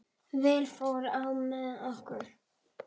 Vel fór á með okkur.